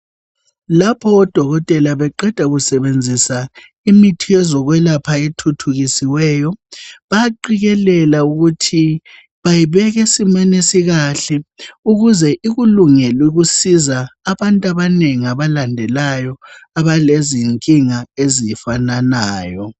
Lapho odokotela beqeda kusebenzisa imithi yezokwelapha ethuthukisiweyo bayaphikelela ukuthi bayibek' esimen' esikahle ukuze ikulungel' ukusiza abant' abaneng' abalandelayo abalezinkinga ezifananayo.